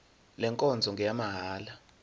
le nkonzo ngeyamahala